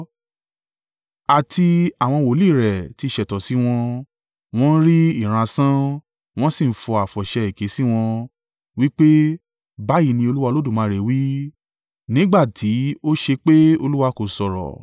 Àti àwọn wòlíì rẹ́ ti ṣẹ̀tàn sí wọn, wọn ń rì ìran asán, wọn sì ń fọ àfọ̀ṣẹ èké sí wọn, wí pé, ‘Báyìí ní Olúwa Olódùmarè wí,’ nígbà tí ó ṣépè Olúwa kò sọ̀rọ̀.